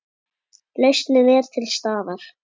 Lausnin er til staðar.